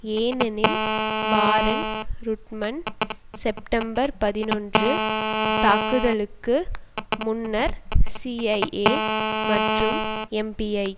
ஏனெனில் Warren Rudman September பதினொன்று தாக்குதலுக்கு முன்னர் சிஐஏ மற்றும் எப்பிஐ